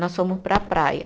Nós fomos para a praia.